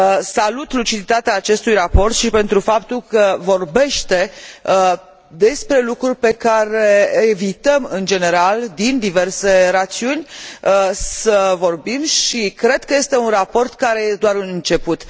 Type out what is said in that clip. Salut luciditatea acestui raport și pentru faptul că vorbește despre lucruri despre care evităm în general, din diverse rațiuni, să vorbim și cred că este un raport care e doar un început.